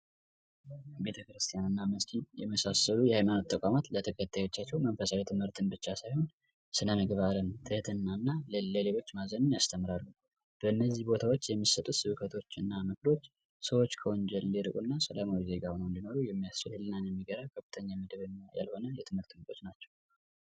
ቤተክርስቲያን እና መስጊድ የመሳሰሉ የሃይማኖት ተቋማት ለተከታዮቻቸው መንፈሳዊ ትምህርትን ብቻ ሳይሆን ስነምግባርን ትህትናንና ለሌሎች ማዘንን ያስተምራሉ በነዚህ ቦታዎች የሚሰበሰቡ ሰዎች ከወንጀል ሰላማዊ ዜጋ ሆነው እንዲኖሩ የሚያስችል የሆነ የትምህርት ክፍሎች ናቸው።